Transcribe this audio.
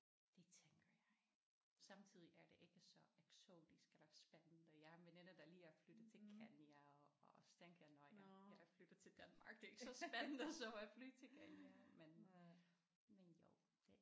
Det tænker jeg samtidig er det ikke så eksotisk eller spændende. Jeg har en veninde der lige er flyttet til Kenya og så tænkte jeg nåh ja jeg er flyttet til Danmark det er ikke så spændende som at flytte til Kenya men men jo det